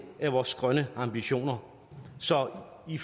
af vores grønne ambitioner så i